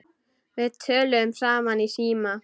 Við töluðum saman í síma.